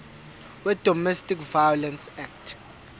wedomestic violence act